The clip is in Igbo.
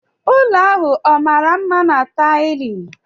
Ụlọ ahụ ọ mara mma na taịlị?